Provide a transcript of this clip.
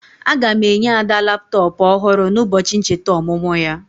Aga m enye Ada laptọpụ ọhụrụ n'ụbọchị ncheta ọmụmụ ya.